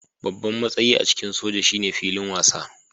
Babban matsayi a cikin soja shine filin wasa